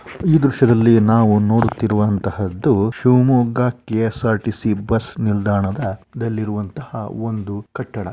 ಈ ದೃಶ್ಯದಲ್ಲಿ ನಾವು ನೋಡುತ್ತಿರುವಂಥಹದ್ದು Shivamogga K S R T C bus ನಿಲ್ದಾಣದ ದಲ್ಲಿರುವಂತಹ ಒಂದು ಕಟ್ಟಡ.